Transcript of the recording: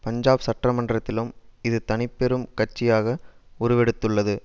பஞ்சாப் சட்டமன்றத்திலும் இது தனிப்பெரும் கட்சியாக உருவெடுத்துள்ளது